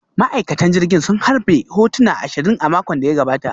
Ma'aikatan jirgin sun harbe hotuna ashirin a makon da ya gabata